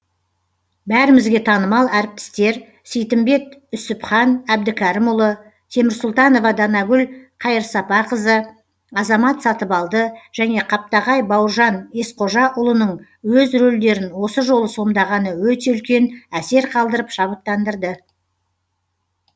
бәрімізге танымал әртістер сейтімбет үсіпхан әбдікерімұлы темірсұлтанова данагүл қайырсапақызы азамат сатыбалды және қаптағай бауыржан есқожаұлының өз рөлдерін осы жолы сомдағаны өте үлкен әсер қалдырып шабыттандырды